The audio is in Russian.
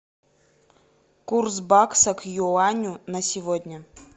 курс бакса к юаню на сегодня